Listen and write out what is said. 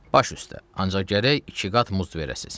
Baş üstə, ancaq gərək iki qat muz verəsiz.